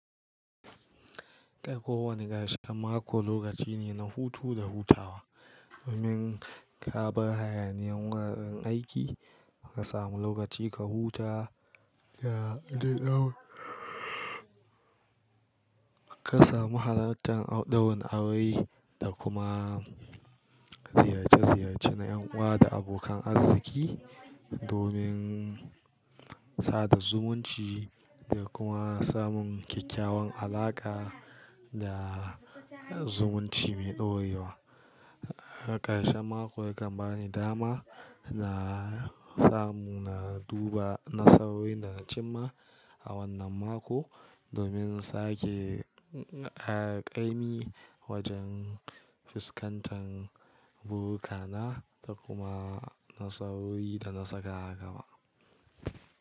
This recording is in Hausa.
Kowane ƙarshen mako lokaci ne na hutu da hutawa. Domin ka bar hayaniyar wuraren aiki ka samu lokaci ka huta da ɗan ka samu halartan ɗaurin aure da kuma ziyarce ziyarce na ƴan uwa da abokan arziki, domin sada zumunci da kuma samun kyakkyawan alaƙa da zumunci mai ɗorewa. Ƙarshen mako yakan bani dama na samu na duba nasaroi da na cimma a wannan mako, domin sake ƙa'imi wajen fuskantar burukana da kuma nasaroi da na saka a gaba.